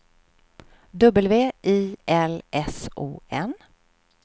W I L S O N